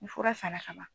Ni fura sanna ka ban